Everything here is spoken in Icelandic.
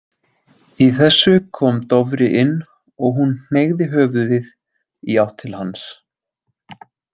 Í þessu kom Dofri inn og hún hneigði höfuðið í átt til hans.